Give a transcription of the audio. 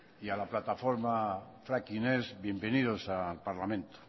y a la plataforma fracking ez bienvenidos al parlamento